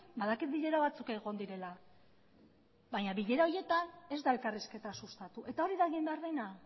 badakit bilera batzuk egon direla baina bilera horietan ez da elkarrizketa sustatu eta hori da egin behar dena